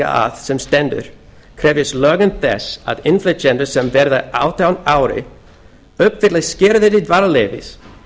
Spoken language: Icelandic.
að sem stendur krefjast lögin þess að innflytjendur sem verða átján ára uppfylli skilyrði dvalarleyfis